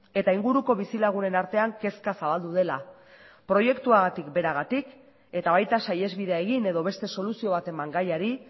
eta inguruko bizilagunen artean kezka zabaldu dela proiektuagatik beragatik eta baita saihesbidea egin edo beste soluzio bat eman gaiari